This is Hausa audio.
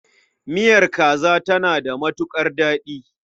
Miyar kaza tana da matuƙar daɗi.